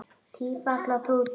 Tífall og Tútur